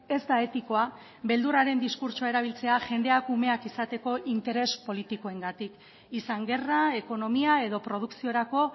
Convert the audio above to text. ez da etikoa beldurraren diskurtsoa erabiltzea jendeak umeak izateko interes politikoengatik izan gerra ekonomia edo produkziorako